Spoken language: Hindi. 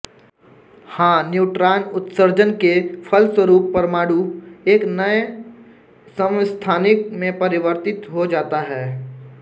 हाँ न्यूट्रॉन उत्सर्जन के फलस्वरूप परमाणु एक नये समस्थानिक में परिवर्तित हो जाता है